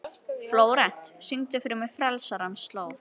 Flórent, syngdu fyrir mig „Frelsarans slóð“.